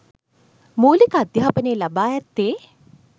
මූලික අධ්‍යාපනය ලබා ඇත්තේ